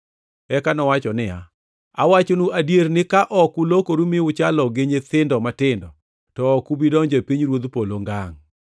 Eka nowacho niya, “Awachonu adier ni ka ok ulokoru ma uchalo gi nyithindo matindo, to ok ubi donjo e pinyruodh polo ngangʼ.